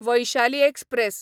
Vaishali express